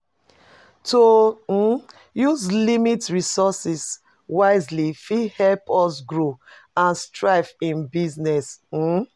To um use limited resources wisely fit help us grow and thrive in business. um